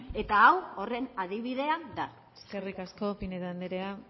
eta hau horren adibidea da eskerrik asko pinedo andrea